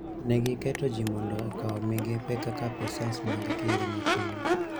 Ne giketo ji mondo okaw migepe kaka apisas mag kinde matin,